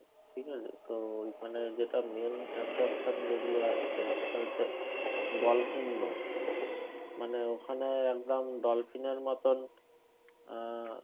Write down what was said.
ঠিক আছে? তো ওইখানে যেটা main attraction যেগুলো আছে সেটা হচ্ছে dolphin মানে ওখানে একদম dolphin এর মতন আহ